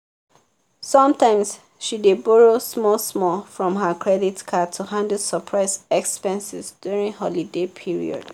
sometimes she dey borrow small-small from her credit card to handle surprise expenses during holiday period.